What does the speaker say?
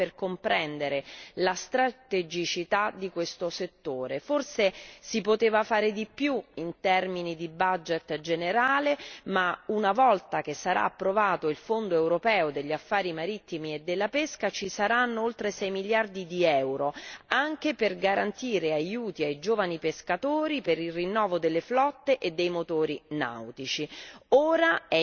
Basta questo dato per comprendere la strategicità di questo settore. Forse si poteva fare di più in termini di budget generale, ma una volta che sarà approvato il Fondo europeo degli affari marittimi e della pesca ci saranno oltre sei miliardi di euro anche per garantire aiuti ai giovani pescatori, per il rinnovo delle flotte e dei motori nautici.